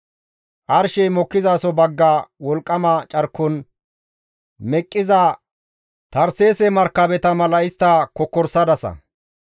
Arshey mokkizaso bagga wolqqama carkon meqqiza Tarseese markabeta mala istta kokkorisadasa.